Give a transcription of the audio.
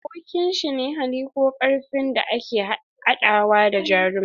Abokin shi ne hali ko karfin da ke adawa da jarumin.